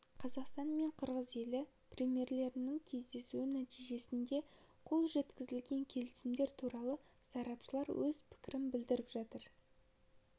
қазақстан мен қырғыз елі премьерлерінің кездесуі нәтижесінде қол жеткізілген келісімдер туралы сарапшылар өз пікірлерін білдіріп жатыр